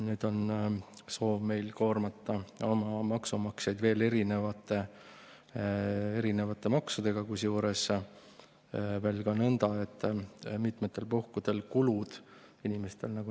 Nüüd on meil soov oma maksumaksjaid koormata veel erinevate maksudega, kusjuures nõnda, et mitmetel puhkudel kulud inimestel …